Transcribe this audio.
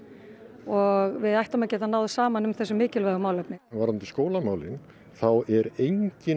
og við ættum að geta náð saman um þessi mikilvægu málefni varðandi skólamálin þá er engin